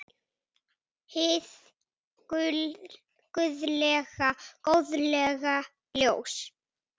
Hið guðlega góðlega ljós.